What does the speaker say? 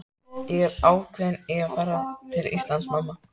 Ég er ákveðinn í að fara til Íslands, mamma.